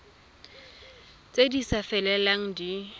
tse di sa felelang di